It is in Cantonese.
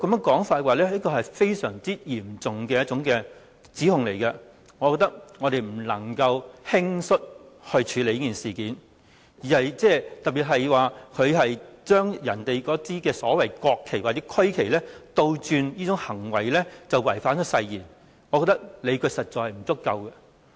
這是一項十分嚴重的指控，我們不能輕率處理這件事，特別是有意見認為他把國旗或區旗倒轉擺放，便等於違反誓言，我認為理據實在不足夠。